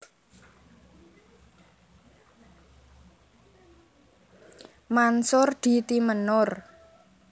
Mansur di Timenur